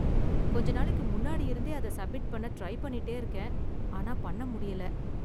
கொஞ்ச நாளைக்கு முன்னாடி இருந்தே அத சப்மிட் பண்ண ட்ரை பண்ணிட்டே இருக்கேன், ஆனா பண்ண முடியல